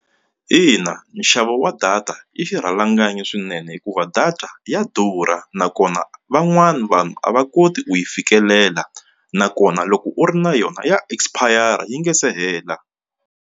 Ina nxavo wa data i xirhalanganyi swinene hikuva data ya durha nakona van'wani vanhu a va koti ku yi fikelela nakona loko u ri na yona ya expire yi nga se hela.